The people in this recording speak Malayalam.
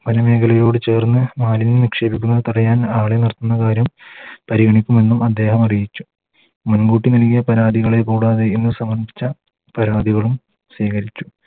വന മേഖലയോട് ചേർന്ന് മാലിന്യം നിക്ഷേപിക്കുന്നത് തടയാൻ ആളെ നിർത്തുന്ന കാര്യം പരിഗണിക്കുമെന്നും അദ്ദേഹം അറിയിച്ചു മുൻകൂട്ടി നൽകിയ പരാതികളെ കൂടാതെ ഇന്ന് സമർപ്പിച്ച പരാതികളും സ്വീകരിക്കും